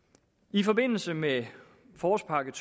i forbindelse med forårspakke